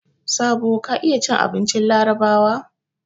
Sabo ka iya cin abincin Larabawa?